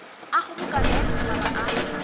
a kgobokano ya setšhaba a